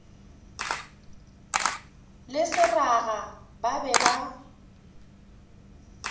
le seraga ba be ba